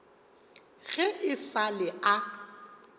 ge e sa le a